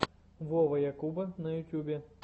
вова якуба на ютубе